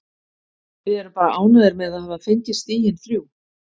Við erum bara ánægðir með að hafa fengið stigin þrjú.